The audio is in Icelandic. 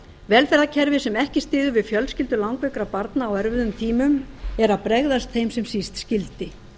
velferðarkerfi sem ekki styður við fjölskyldur langveikra barna á erfiðum tímum er að bregðast þeim sem síst skyldi